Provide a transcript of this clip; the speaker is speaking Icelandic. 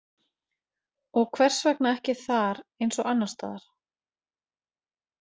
Og hvers vegna ekki þar eins og annarstaðar?